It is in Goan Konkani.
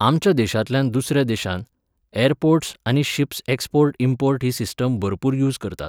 आमच्या देशांतल्यान दुसऱ्या देशांत, ऍरपोर्ट्स आनी शिप्स एक्सपोर्ट इम्पोर्ट ही सिस्टम भरपूर यूज करतात.